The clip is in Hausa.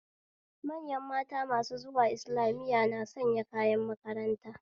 Manyan mata masu zuwa islamiya na sanya kayan makaranta